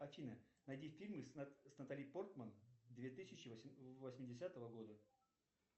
афина найди фильмы с натали портман две тысячи восьмидесятого года